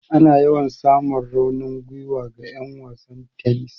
Ana yawan samun raunin gwiwa ga 'yan wasan tennis.